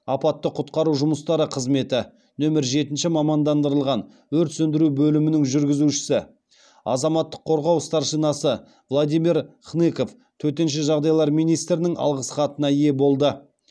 апатты құтқару жұмыстары қызметі нөмір жетінші мамандандырылған өрт сөндіру бөлімінің жүргізушісі азаматтық қорғау старшинасы владимир хныков төтенше жағдайлар министрінің алғыс хатына ие болды